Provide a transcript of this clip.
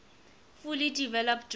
fully developed drawn